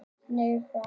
Neðri Hálsi